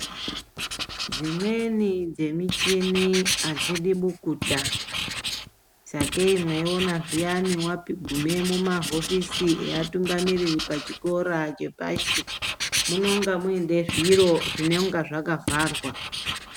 Dzimweni dzemichini adzidi bukuta. Sakei mweiona zviyani wagume mumahofisi eatungamiriri pachikora chepashi, munonga muine zviro zvinenga zvakavharwa.